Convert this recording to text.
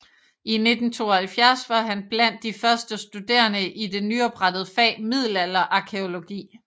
I 1972 var han blandt de første studerende i det nyoprettede fag middelalderarkæologi